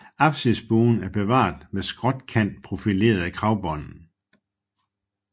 Apsisbuen er bevaret med skråkantprofilerede kragbånd